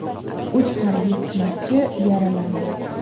Uch harbiy xizmatchi yaralandi.